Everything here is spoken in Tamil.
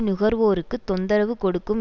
நுகர்வோருக்கு தொந்தரவு கொடுக்கும்